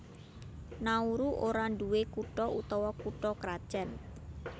Nauru ora nduwé kutha utawa kutha krajan